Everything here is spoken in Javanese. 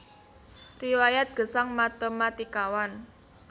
Riwayat Gesang Matématikawan